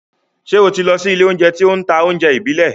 Ṣé o lọ sí ilé-oúnjẹ tí ó ń ta oúnjẹ ìbílẹ̀?